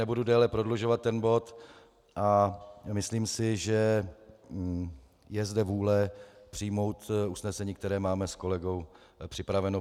Nebudu déle prodlužovat ten bod a myslím si, že je zde vůle přijmout usnesení, které máme s kolegou připraveno.